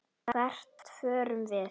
Hvert förum við?